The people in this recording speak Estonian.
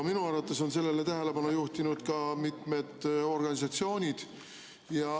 Minu arvates on sellele tähelepanu juhtinud ka mitmed organisatsioonid.